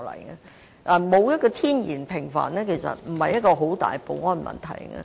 其實，沒有天然的屏障並非很大的保安問題。